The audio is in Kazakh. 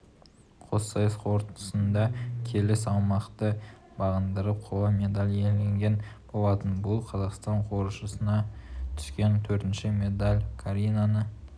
қоссайыс қорытындысында келі салмақты бағындырып қола медаль иеленген болатын бұл қазақстан қоржынына түскен төртінші медалькаринаны